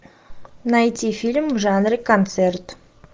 найти фильм в жанре концерт